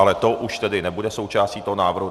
Ale to už tedy nebude součástí toho návrhu.